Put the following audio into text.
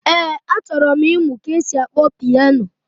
Ee, achọrọ m ịmụ ka esi akpọ pịano